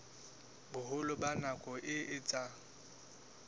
boholo ba nako e etsang